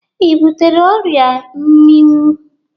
Ị butere ọrịa mminwụ?